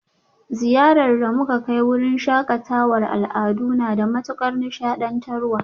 Ziyarar da muka kai wurin shakatawar al'adu na da matukar ilmantarwa